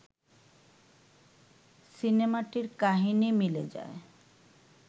সিনেমাটির কাহিনি মিলে যায়